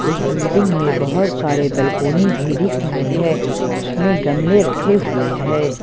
उस बिल्डिंग में बहोत सारे बालकोनी भी दिख रहे हैं उसमें गमले रखे हुए हैं।